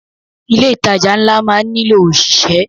Ilé ìtajà ńlá máa má nílò ọ̀ṣìṣẹ́.